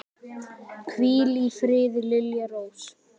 Hvíl í friði, Lilja Rós.